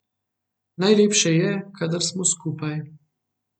Najlepše je, kadar smo skupaj.